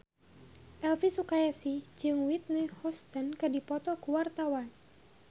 Elvi Sukaesih jeung Whitney Houston keur dipoto ku wartawan